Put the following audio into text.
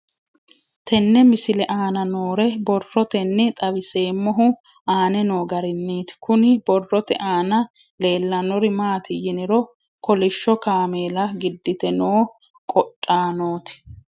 Tenne misile aana noore borroteni xawiseemohu aane noo gariniiti. Kunni borrote aana leelanori maati yiniro kolishsho kaamella giddite noo qodhaanoti